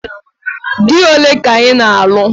Dị ole ka ị na-alụ?